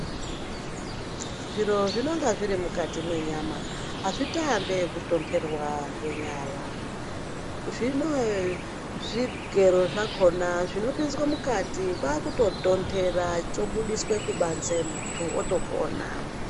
Zviro zvinonga zviri mukati mwenyama, azvitoambi ekutonterwa ngenyara. Zvinoo zvigero zvakhona zvinopinzwe mukati kwaakutotontera, chobudiswe kubanze, muntu otopona.